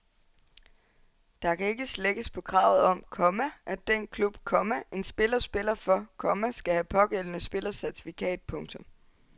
Der kan ikke slækkes på kravet om, komma at den klub, komma en spiller spiller for, komma skal have pågældende spillers certifikat. punktum